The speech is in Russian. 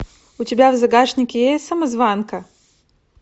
у тебя в загашнике есть самозванка